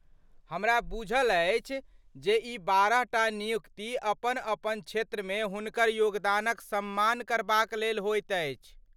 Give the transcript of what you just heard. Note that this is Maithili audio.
हमरा बुझल अछि जे ई बारहटा नियुक्ति अपन अपन क्षेत्रमे हुनकर योगदानक सम्मान करबाक लेल होइत अछि।